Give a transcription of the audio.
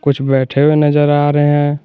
कुछ बैठे हुए नजर आ रहे हैं।